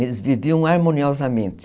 Eles viviam harmoniosamente.